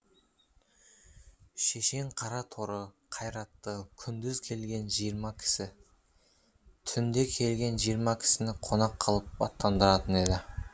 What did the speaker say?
шешең қара торы қайратты күндіз келген жиырма кісі түнде келген жиырма кісіні қонақ қылып аттандыратын еді